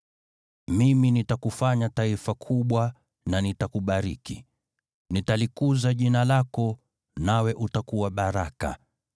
“Mimi nitakufanya taifa kubwa na nitakubariki, Nitalikuza jina lako, nawe utakuwa baraka.